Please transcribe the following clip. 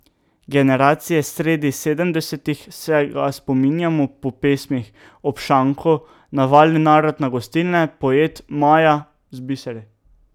Generacije sredi sedemdesetih se ga spominjamo po pesmih Ob šanku, Navali narod na gostilne, Poet, Maja z biseri.